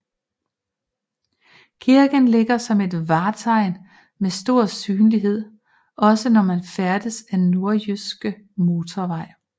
Kirken ligger som et vartegn med stor synlighed også når man færdes ad Nordjyske Motorvej